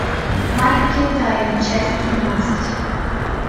маленькие тайны часть тринадцать